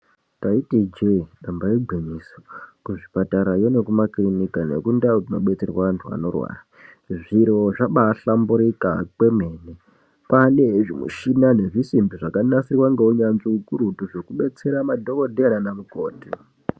Taiti chii nyamba igwinyiso kuchipatarayo nekundau dzinodetserwa antu anorwara zviro zvambahlamburika kwemene kwane zvimishina nezvisimbi zvakanasirwa ngeunyanzvi ukurutu zvekudetsera madhokodheya nanamukoti.